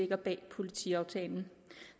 bag politiaftalen